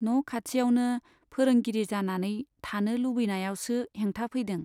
न' खाथियावनो फोरोंगिरि जानानै थानो लुबैनायावसो हेंथा फैदों।